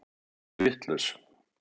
Þau eru vitlaus.